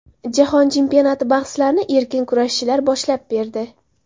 Jahon chempionati bahslarini erkin kurashchilar boshlab berdi.